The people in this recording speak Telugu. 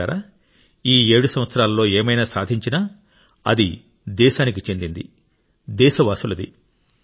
మిత్రులారా ఈ 7 సంవత్సరాలలో ఏమైనా సాధించినా అది దేశానికి చెందింది దేశవాసులది